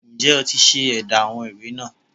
Ǹ jé o ti se édá àwọn ìwé náà